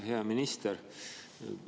Hea minister!